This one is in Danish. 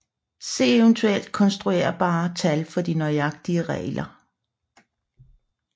Se eventuelt konstruerbare tal for de nøjagtige regler